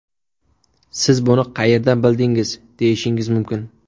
Siz buni qayerdan bildingiz deyishingiz mumkin.